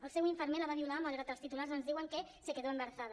el seu infermer la va violar malgrat els titulars ens diuen que se quedó embarazada